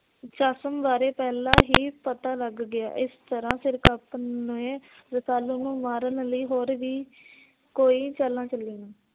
ਚਸਮ ਬਾਰੇ ਪਹਿਲਾਂ ਹੀ ਪਤਾ ਲੱਗ ਗਿਆ। ਇਸ ਤਰਾਂ ਸਿਰਕਪ ਨੇ ਰਸਾਲੂ ਨੂੰ ਮਾਰਨ ਲਈ ਹੋਰ ਵੀ ਕੋਈ ਚਾਲਾ ਚਲੀਆਂ